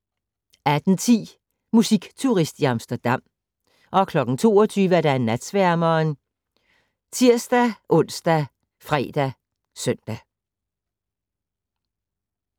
18:10: Musikturist i Amsterdam 22:00: Natsværmeren ( tir-ons, fre, søn)